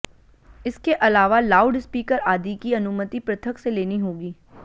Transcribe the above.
इसके अलावा loudspeaker आदि की अनुमति पृथक से लेनी होगी